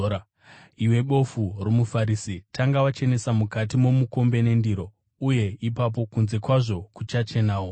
Iwe bofu romuFarisi! Tanga wachenesa mukati momukombe nendiro, uye ipapo kunze kwazvo kuchachenawo.